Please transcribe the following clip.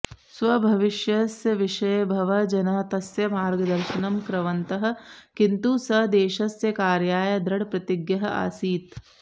स्वभविष्यस्य विषये बहवः जनाः तस्य मार्गदर्शनं कृवन्तः किन्तु सः देशस्य कार्याय दृढप्रतिज्ञः आसीत्